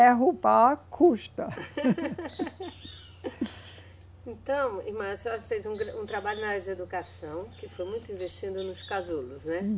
Derrubar custa. Então, irmã, a senhora fez um gran, um trabalho na área de educação, que foi muito investindo nos casulos, né?